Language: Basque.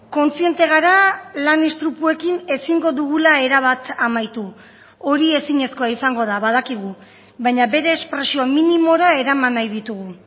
kontziente gara lan istripuekin ezingo dugula erabat amaitu hori ezinezkoa izango da badakigu baina bere espresio minimora eraman nahi ditugu